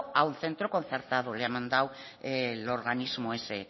a un centro concertado le ha mandado el organismo ese